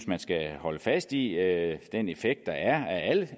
man skal holde fast i i er den effekt der er